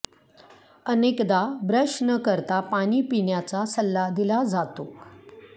अनेकदा ब्रश न करता पाणी पिण्याचा सल्ला दिला जातो